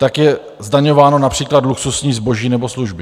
Tak je zdaňováno například luxusní zboží nebo služby.